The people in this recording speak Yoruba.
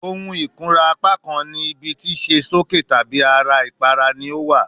Ohun ikunra apakan ni ibi ti ṣe soke tabi ara ipara ni o wa